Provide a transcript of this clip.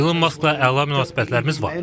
İlon Maskla əla münasibətlərimiz var.